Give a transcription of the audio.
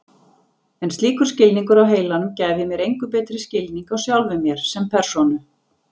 En slíkur skilningur á heilanum gæfi mér engu betri skilning á sjálfum mér sem persónu.